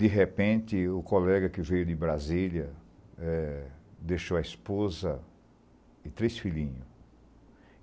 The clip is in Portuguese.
De repente, o colega que veio de Brasília eh deixou a esposa e três filhinho.